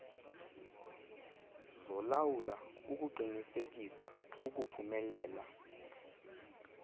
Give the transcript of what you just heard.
zolawulo ukuqinisekisa ukuphumelela